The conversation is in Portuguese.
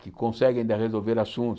que conseguem ainda resolver assuntos.